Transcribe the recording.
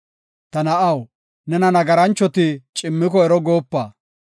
Ta na7aw, nena nagaranchoti cimmiko ero goopa.